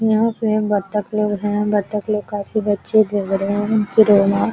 यह पे बतक भी हैं । बतक ले काफी बच्चे घूम रहे हैं फिर रहे हैं ।